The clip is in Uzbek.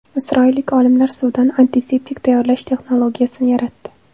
Isroillik olimlar suvdan antiseptik tayyorlash texnologiyasini yaratdi.